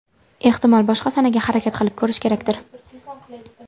Ehtimol, boshqa sanaga harakat qilib ko‘rish kerakdir?